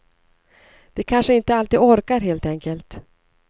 De kanske inte alltid orkar, helt enkelt.